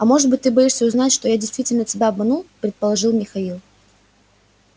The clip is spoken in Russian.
а может быть ты боишься узнать что я действительно тебя обманул предположил михаил